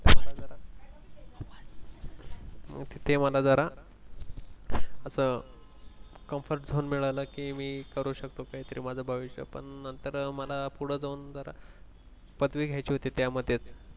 तेव्हा न जरा अस comfort zone मिळालं कि मि करू शकतो काहीतरी माझं भविष्य पण नंतर पुढे जाऊन मला पदवी घ्यायची होती जरा